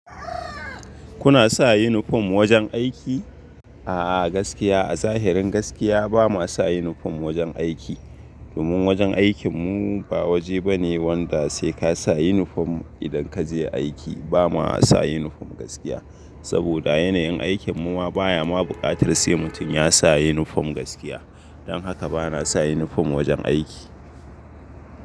Kuna sa uniform wajen aiki? A'a gaskiya a zahirin gaskiya ba ma sa uniform wajen aiki. Domin wajen aikin mu ba waje bane wanda sai ka sa uniform idan kaje aiki ba ma sa uniform gaskiya. Saboda yanayin aikin mu ma baya ma bukatar sai mutum ya sa uniform gaskiya. Don haka bana sa uniform wajen aiki.